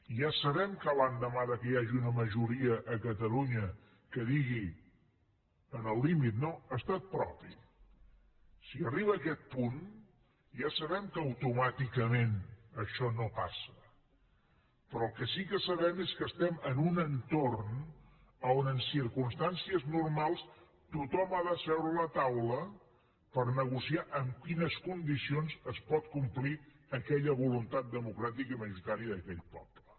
ja sabem que l’endemà que hi hagi una majoria a catalunya que digui en el límit no estat propi si arriba aquest punt ja sabem que automàticament això no passa però el que sí que sabem és que estem en un entorn on en circumstàncies normals tothom ha de seure a la taula per negociar amb quines condicions es pot complir aquella voluntat democràtica majoritària d’aquell poble